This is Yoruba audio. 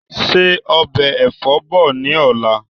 Ṣe ọbẹ̀ Ẹ̀fọ́ bọ̀ ni ọ̀la!